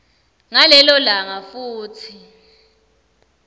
ngalelo langa futsi